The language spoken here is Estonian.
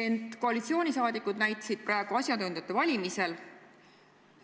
Ent koalitsioonisaadikud näitasid praegu asjatundjate valimisel